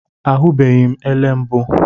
Ahụbeghị m ele mbụ